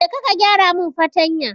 Kaje ka gyaramin fartanya ta.